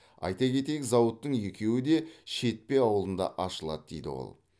айта кетейік зауыттың екеуі де шетпе ауылында ашылады деді ол